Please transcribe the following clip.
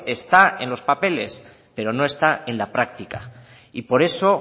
está en los papeles pero no está en la práctica y por eso